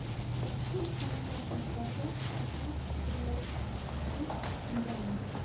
за сколько можно продать пятнадцать белорусских рублей в банке